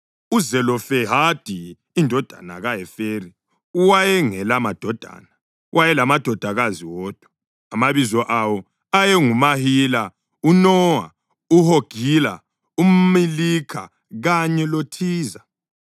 (UZelofehadi indodana kaHeferi wayengelamadodana; wayelamadodakazi wodwa, amabizo awo ayenguMahila, uNowa, uHogila, uMilikha kanye loThiza.)